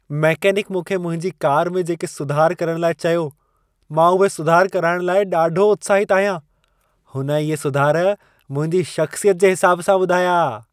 Mechanic मूंखे मुंहिंजी car में जेके सुधार करण लाइ चयो, मां उहे सुधार कराइण लाइ ॾाढो उत्साहितु आहियां। हुन इहे सुधार मुंहिंजी शख़्सियत जे हिसाब सां ॿुधाया।